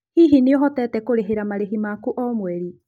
Hihi nĩ ũhotete kũrĩhĩra marĩhi maku ma o mweri?